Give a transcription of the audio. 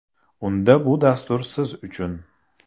Unda bu dastur siz uchun!.